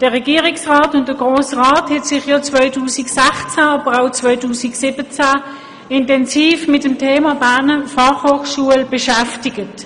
Der Regierungsrat wie auch der Grosse Rat haben sich ja 2016, aber auch 2017 intensiv mit dem Thema Berner Fachhochschule beschäftigt.